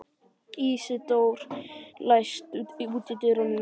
Ísidór, læstu útidyrunum.